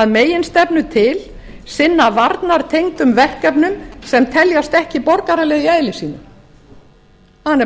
að meginstefnu til sinna varnartengdum verkefnum sem teljast ekki borgaraleg í eðli sínu það er nefnilega